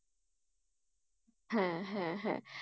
হ্যাঁ হ্যাঁ হ্যাঁ।